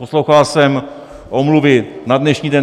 Poslouchal jsem omluvy na dnešní den.